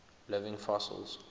living fossils